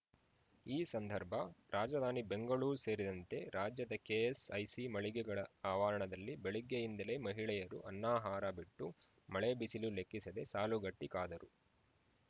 ಈ ಸಂದರ್ಭ ರಾಜಧಾನಿ ಬೆಂಗಳೂರು ಸೇರಿದಂತೆ ರಾಜ್ಯದ ಕೆಎಸ್‌ಐಸಿ ಮಳಿಗೆಗಳ ಆವರಣದಲ್ಲಿ ಬೆಳಗ್ಗೆಯಿಂದಲೇ ಮಹಿಳೆಯರು ಅನ್ನಾಹಾರ ಬಿಟ್ಟು ಮಳೆ ಬಿಸಿಲು ಲೆಕ್ಕಿಸದೆ ಸಾಲುಗಟ್ಟಿಕಾದರು